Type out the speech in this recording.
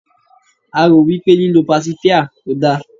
a ro wipe líloo pasifia kò da